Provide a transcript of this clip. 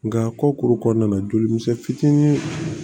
Nka kɔkuru kɔnɔna na joli misɛnnin fitinin